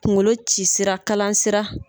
Kuŋolo ci sira kalan sira